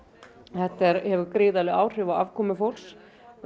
þetta hefur gríðarleg áhrif á afkomu fólks